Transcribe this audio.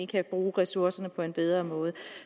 kan bruge ressourcerne på en bedre måde